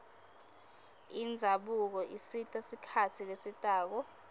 indzabuko isita sikhatsi lesitako